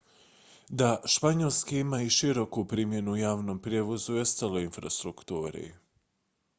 da španjolski ima i široku primjenu u javnom prijevozu i ostaloj infrastrukturi